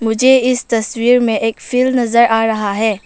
मुझे इस तस्वीर में एक फिल नजर आ रहा है।